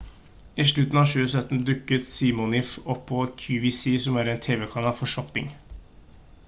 i slutten av 2017 dukket siminoff opp på qvc som er en tv-kanal for shopping